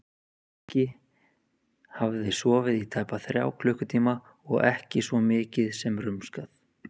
Nikki hafði sofið í tæpa þrjá klukkutíma og ekki svo mikið sem rumskað.